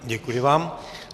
Děkuji vám.